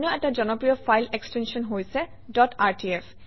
অন্য এটা জনপ্ৰিয় ফাইল এক্সটেনশ্যন হৈছে ডট rtf